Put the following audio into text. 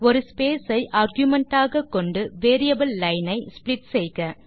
ஒரு ஸ்பேஸ் ஐ ஆர்குமென்ட் ஆகக்கொண்டு வேரியபிள் லைன் ஐ ஸ்ப்ளிட் செய்க